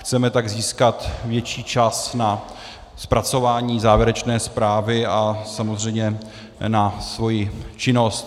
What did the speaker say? Chceme tak získat větší čas na zpracování závěrečné zprávy a samozřejmě na svoji činnost.